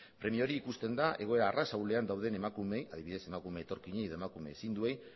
premia hori ikusten da egoera arras ahulean dauden emakumeei adibidez emakume etorkinei edo emakume ezinduei